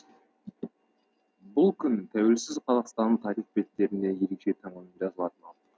бұл күн тәуелсіз қазақстанның тарих беттерінде ерекше таңбамен жазылатыны анық